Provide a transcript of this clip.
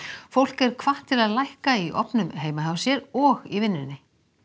fólk er hvatt til að lækka í ofnum heima hjá sér og í vinnunni